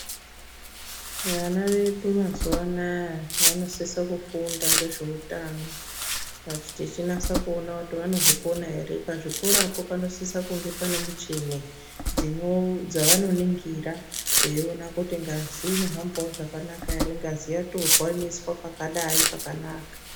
Vana vedu mazuwa anaya vanosise kufunda ngezveutano tichinasa kuona kuti vanozvikona ere .Pazvikorapo panosisa kunga pane michini dzinoo dzavanoningira vaiona kuti ngazi inohambawo zvakanaka ere ,ngazi yatorwa inoiswa pakadai pakanaka .